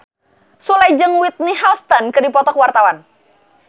Sule jeung Whitney Houston keur dipoto ku wartawan